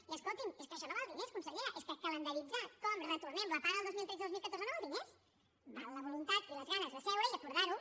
i escolti’m és que això no val diners consellera és que calendaritzar com retornem les pagues del dos mil tretze i del dos mil catorze no val diners val la voluntat i les ganes de seure i acordar ho